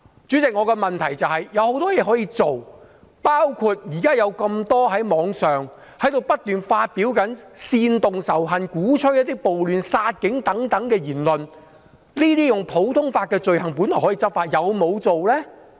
主席，我的質詢是，政府有很多事情可以做，包括現時有這麼多在網上不斷發表煽動仇恨、鼓吹暴亂、殺警等言論，這些普通法下的罪行本來是可以執法的，但是否有做呢？